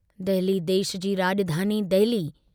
दहली देश जी राजधानी दहली।